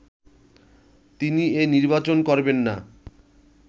তিনি এ নির্বাচন করবেননা